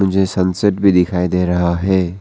मुझे सनसेट भी दिखाई दे रहा है।